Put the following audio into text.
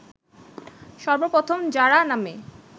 সর্বপ্রথম জারা নামে